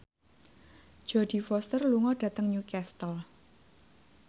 Jodie Foster lunga dhateng Newcastle